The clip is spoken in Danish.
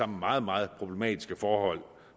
meget meget problematiske forhold